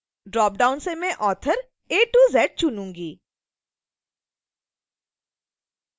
dropdown से मैं author az चुनुंगी